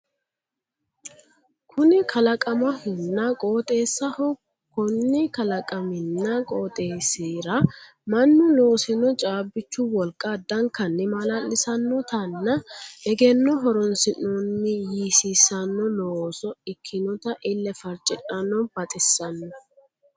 Kunni kalaqamahonna qooxeessaho konni kalaqaminna qooxeessira mannu loosino caabbichu wolqa addankanni maala'lissannotanna eggenno horoonsinoonni yiisiissano looso ikkinota ille farcidhanno baxisanno